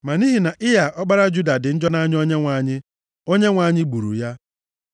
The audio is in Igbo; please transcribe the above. Ma nʼihi na Ịa, ọkpara Juda, dị njọ nʼanya Onyenwe anyị. Onyenwe anyị gburu ya.